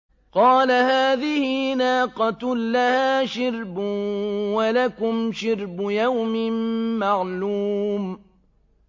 قَالَ هَٰذِهِ نَاقَةٌ لَّهَا شِرْبٌ وَلَكُمْ شِرْبُ يَوْمٍ مَّعْلُومٍ